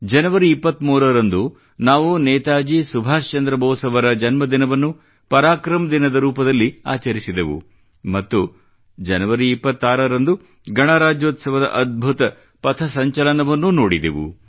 ಜನವರಿ 23 ರಂದು ನಾವು ನೇತಾಜಿ ಸುಭಾಷ್ ಚಂದ್ರ ಬೋಸ್ ಅವರ ಜನ್ಮದಿನವನ್ನು ಪರಾಕ್ರಮ ದಿನದ ರೂಪದಲ್ಲಿ ಆಚರಿಸಿದೆವು ಮತ್ತು ಜನವರಿ 26 ರಂದು ಗಣರಾಜ್ಯೋತ್ಸವದ ಅದ್ಭುತ ಪಥಸಂಚಲನವನ್ನೂ ನೋಡಿದೆವು